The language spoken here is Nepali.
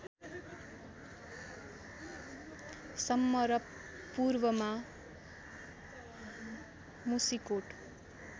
सम्म र पूर्वमा मुसिकोट